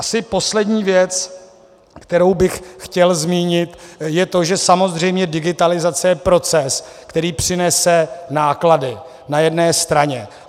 Asi poslední věc, kterou bych chtěl zmínit, je to, že samozřejmě digitalizace je proces, který přinese náklady na jedné straně.